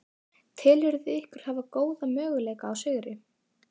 Telurðu ykkur hafa góða möguleika á sigri?